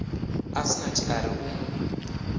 asnath a ri u mu